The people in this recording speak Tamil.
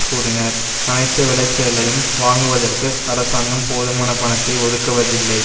கூறினர் அனைத்து விளைச்சலையும் வாங்குவதற்கு அரசாங்கம் போதுமான பணத்தை ஒதுக்குவதில்லை